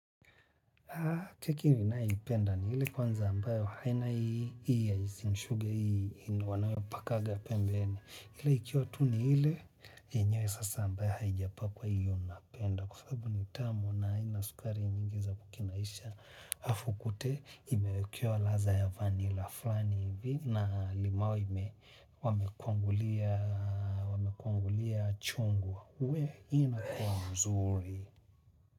Keki ninayoipenda ni ile kwanza ambayo haina hii ya icing sugar hii yenye wanayopakanga ya pembeni ile ikiwa tu ni ile yenyewe sasa ambayo haijapakwa hio napenda kwa sababu ni tamu na haina sukari nyingi za kukinaisha alafu ukute imewekewa ladha ya vanila fulani hivi na limau ime wamekwangulia chungwa uwe ina kuwa mzuri.